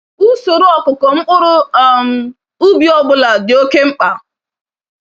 Usoro ọkụkụ mkpụrụ um ubi ọbụla dị oke mkpa.